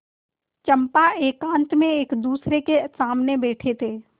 चंपा एकांत में एकदूसरे के सामने बैठे थे